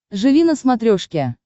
живи на смотрешке